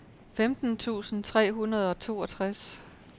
femten tusind tre hundrede og toogtres